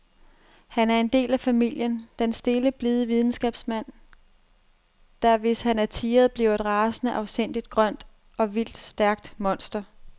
Han er en del af familien, den stille, blide videnskabsmand, der, hvis han er tirret, bliver et rasende, afsindigt, grønt og vildt stærkt monster.